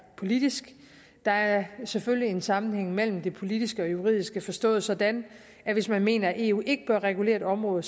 politisk der er selvfølgelig en sammenhæng mellem det politiske og det juridiske forstået sådan at hvis man mener at eu ikke bør regulere et område